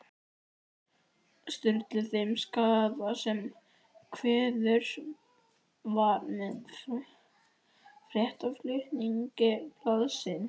Sturlu þeim skaða sem skeður var með fréttaflutningi blaðsins.